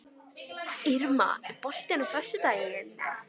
Irma, er bolti á föstudaginn?